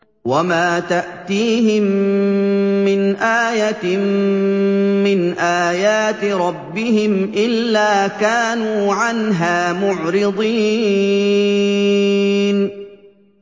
وَمَا تَأْتِيهِم مِّنْ آيَةٍ مِّنْ آيَاتِ رَبِّهِمْ إِلَّا كَانُوا عَنْهَا مُعْرِضِينَ